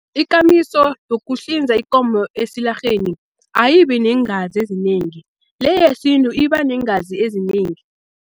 Ikamiso yokuhlinza ikomo esilarheni ayibi neengazi ezinengi, le yesintu iba neengazi ezinengi.